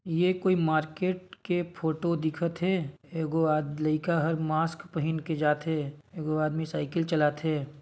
ये कोई मार्केट के फोटो दिखत हे एगो लाइका ह मास्क पहन के जाथे एगो आदमी साइकिल चलाथे।